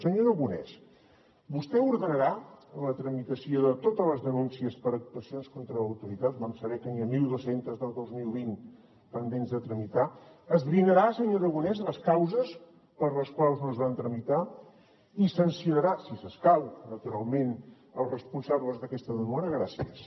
senyor aragonès vostè ordenarà la tramitació de totes les denúncies per actuacions contra l’autoritat vam saber que n’hi ha mil dos cents del dos mil vint pendents de tramitar esbrinarà senyor aragonès les causes per les quals no es van tramitar i sancionarà si escau naturalment els responsables d’aquesta demora gràcies